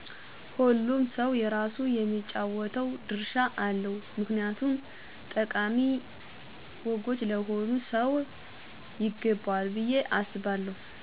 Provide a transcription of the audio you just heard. ሆሉም ሰው የራሱ የሚጫወተው ድርሻ አለው ምክንያቱም ጠቃሚ ወጎች ለሆሉም ሰው ይገበዎል ብየ አሰባለው።